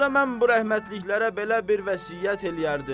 Onda mən bu rəhmətliklərə belə bir vəsiyyət eləyərdim.